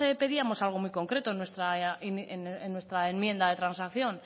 pedíamos algo muy concreto en nuestra enmienda de transacción